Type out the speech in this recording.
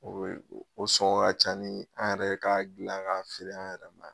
O be o sɔŋɔ ka ca ni an yɛrɛ k'a dilan k'a feere an yɛrɛ ma ya